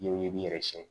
Ɲɛw i b'i yɛrɛ sɛgɛn